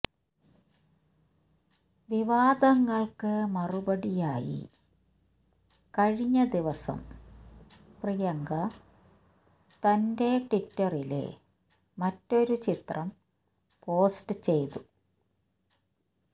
വിവാദങ്ങള്ക്ക് മറുപടിയായി കഴിഞ്ഞ ദിവസം പ്രിയങ്ക തന്റെ ട്വിറ്ററില് മറ്റൊരു ചിത്രം പോസ്റ്റ് ചെയ്തു